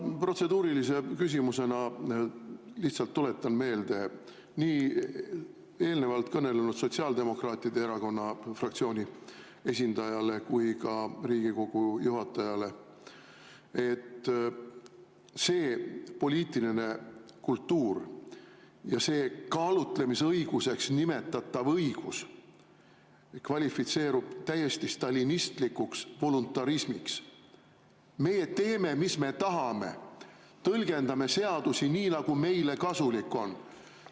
Ma protseduurilise küsimusena lihtsalt tuletan meelde nii eelnevalt kõnelenud sotsiaaldemokraatide erakonna fraktsiooni esindajale kui ka Riigikogu juhatajale, et see poliitiline kultuur ja see kaalutlemise õiguseks nimetatav õigus kvalifitseerub täiesti stalinistlikuks voluntarismiks: me teeme, mis me tahame, tõlgendame seadusi nii, nagu meile kasulik on.